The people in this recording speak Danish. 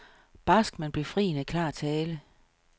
Barsk, men befriende klar tale.